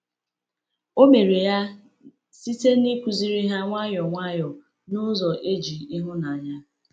O mere ya site n’ịkụziri ha nwayọ nwayọ na n’ụzọ e ji ịhụnanya.